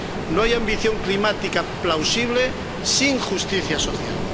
No hay ambición climática plausible sin justicia social.